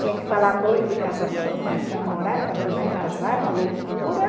Tinha que falar noivo e casamento, não era para namorar, era para noiva e casar, era uma loucura.